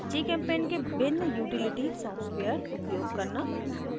gchempaint के भिन्न utility software उपयोग करना